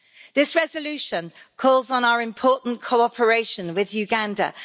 This resolution calls on our important cooperation with Uganda.